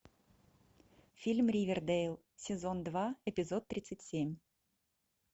фильм ривердейл сезон два эпизод тридцать семь